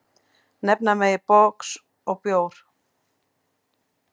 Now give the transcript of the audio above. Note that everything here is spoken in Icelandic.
Nefna megi box og bjór.